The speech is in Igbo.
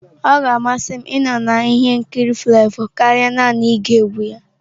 Ọ ga-amasị m ịnọ na ihe nkiri Flavour karịa naanị ige egwu ya.